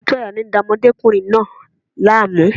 Òtútù àyà ni ó ń da ọmọdékùnrin náà láàmú.